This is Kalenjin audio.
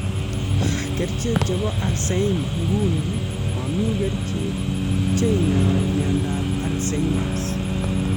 Kerchek chepo alzheimer nguni, mami kerchek cheinyai miondap alzheimers